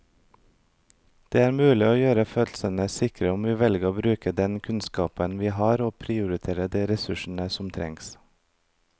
Det er mulig å gjøre fødslene sikre om vi velger å bruke den kunnskapen vi har og prioritere de ressursene som trengs.